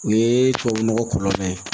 O ye tubabu nɔgɔ kɔlɔlɔ ye